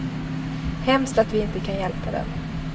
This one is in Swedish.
Hemskt att vi inte kan hjälpa dem.